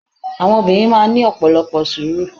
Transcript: Àwọn Obìnrin máa n ní ọ̀pọ̀lọpọ̀ sùúrù